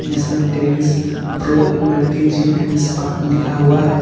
इसमें tennis pro multi gym and spa लिखा हुआ है।